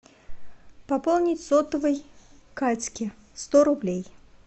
пополнить сотовый катьке сто рублей